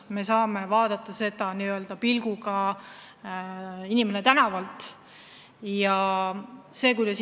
Me saame vaadata seda sellise pilguga, nagu vaataks n-ö inimene tänavalt.